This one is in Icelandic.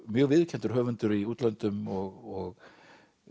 mjög viðurkenndur höfundur í útlöndum og